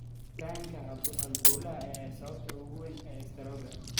Xiritaanka halbowlahan ayaa ah sababta ugu weyn ee istaroogga.